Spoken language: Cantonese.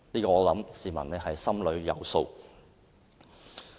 我想市民心裏有數。